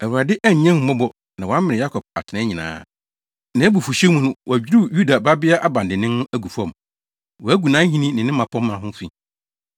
Awurade annya ahummɔbɔ na wamene Yakob atenae nyinaa; nʼabufuwhyew mu, wadwiriw Yuda Babea abandennen no agu fam. Wagu nʼahenni ne ne mmapɔmma ho fi.